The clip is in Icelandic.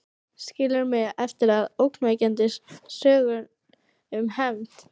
Skilur mig eftir með ógnvekjandi sögur um hefnd.